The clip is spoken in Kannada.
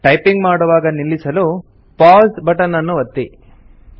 ಟೈಪಿಂಗ್ ಮಾಡುವಾಗ ನಿಲ್ಲಿಸಲು ಪೌಸ್ ಸೆಶನ್ ಎಂಬಲ್ಲಿ ಕ್ಲಿಕ್ ಮಾಡಿ